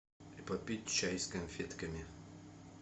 попить чай с конфетками